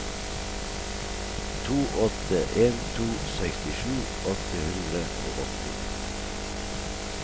to åtte en to sekstisju åtte hundre og åtti